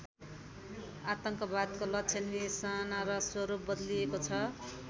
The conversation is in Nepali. आतङ्कवादको लक्ष्य निशाना र स्वरूप बदलिएको छ।